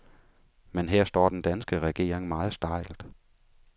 Men her står den danske regering meget stejlt.